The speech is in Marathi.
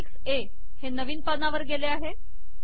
अपेंडिक्स ए हे नवीन पानावर गेले आहे